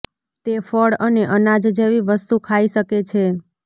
તે ફળ અને અનાજ જેવી વસ્તુ ખાઈ શકે છે